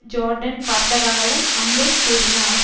Jordan பார்த்ததாகவும் அம்புல் கூறினார்